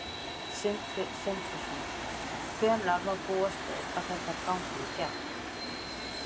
Sindri Sindrason: Hvenær má búast við að þetta gangi í gegn?